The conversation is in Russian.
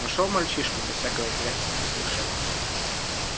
нашёл мальчишку без всякого интереса спросил шеф